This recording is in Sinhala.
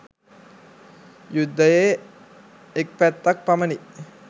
යුද්ධයේ එක් පැත්තක් පමණි.